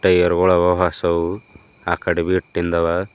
Air ಗುಳವ ಹೊಸವು ಆಕಾಡೆವ್ ಇಟ್ಟಿನ್ದವ.